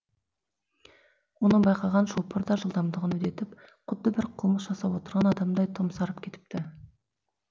мұны байқаған шопыр да жылдамдығын үдетіп құдды бір қылмыс жасап отырған адамдай томсарып кетіпті